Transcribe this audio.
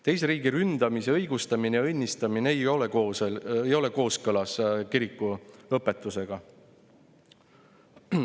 Teise riigi ründamise õigustamine ja õnnistamine ei ole kooskõlas kiriku õpetusega.